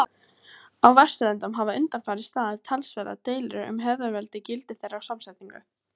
Á Vesturlöndum hafa undanfarið staðið talsverðar deilur um hefðarveldi, gildi þeirra og samsetningu.